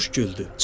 Quş güldü.